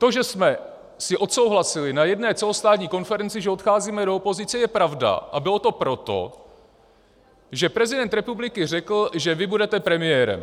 To, že jsme si odsouhlasili na jedné celostátní konferenci, že odcházíme do opozice, je pravda, a bylo to proto, že prezident republiky řekl, že vy budete premiérem.